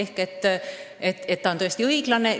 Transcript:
Nii et see on tõesti õiglane.